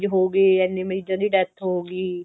ਹੋਗੇ ਇੰਨੇ ਮਰੀਜਾਂ ਦੀ death ਹੋ ਗਈ